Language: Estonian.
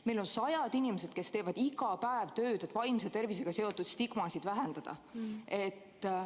Meil on sajad inimesed, kes teevad iga päev tööd, et vaimse tervisega seotud stigmasid vähendada.